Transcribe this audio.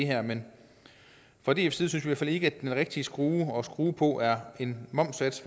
her men fra dfs side synes vi fald ikke at den rigtige skrue at skrue på er en momssats